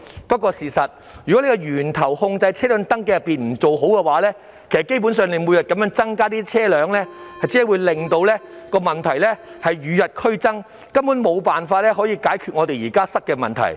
但是，如果不在源頭上妥善控制車輛的登記，車輛數目每天增加，只會令問題與日俱增，根本無法解決現時塞車的問題。